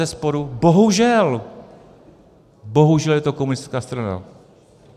Bezesporu, bohužel, bohužel je to komunistická strana.